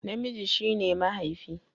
Namiji shi ne mahaifi